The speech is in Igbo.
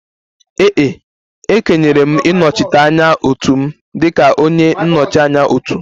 Ee e, e kenyere m ịnọchite anya otu m dịka onye nnọchi anya otu